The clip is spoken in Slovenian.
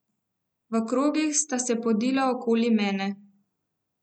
V krogih sta se podila okoli mene.